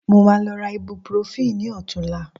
Mo máa lọ ra ibuprofen ní ọ̀tunla